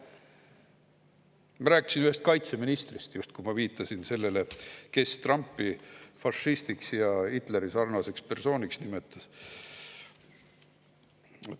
Ma rääkisin ühest kaitseministrist, viitasin sellele, kes Trumpi fašistiks ja Hitleri-sarnaseks persooniks nimetas.